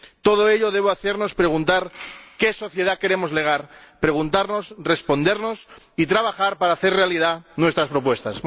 Todo ello nos debe hacer preguntarnos qué sociedad queremos legar preguntarnos, respondernos y trabajar para hacer realidad nuestras propuestas.